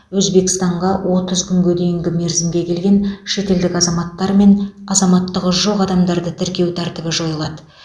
өзбекстанға отыз күнге дейінгі мерзімге келген шетелдік азаматтар мен азаматтығы жоқ адамдарды тіркеу тәртібі жойылады